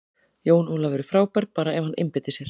Jón Ólafur er frábær, bara ef hann einbeitir sér.